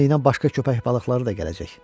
Qanı ilə başqa köpək balıqları da gələcək.